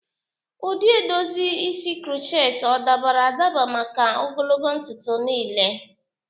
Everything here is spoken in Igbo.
Ụdị edozi isi crochet o dabara adaba maka ogologo ntutu niile?